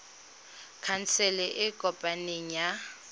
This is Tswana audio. khansele e e kopaneng ya